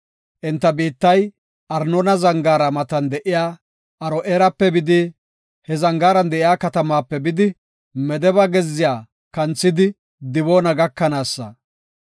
Enta biittay Arnoona Zangaara matan de7iya Aro7eerape bidi, he zangaaran de7iya katamaape bidi, Medeba gezziya kanthidi Diboona gakanaasa.